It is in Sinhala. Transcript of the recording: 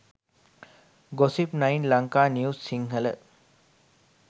gossip9 lanka news sinhala